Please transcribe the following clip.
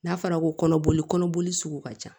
N'a fɔra ko kɔnɔboli kɔnɔboli sugu ka ca